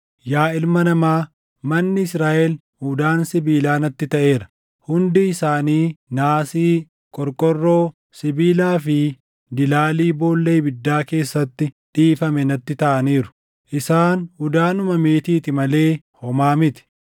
“Yaa ilma namaa, manni Israaʼel udaan sibiilaa natti taʼeera; hundi isaanii naasii, qorqorroo, sibiilaa fi dilaalii boolla ibiddaa keessatti dhiifame natti taʼaniiru. Isaan udaanuma meetiiti malee homaa miti.